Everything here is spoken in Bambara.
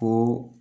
Ko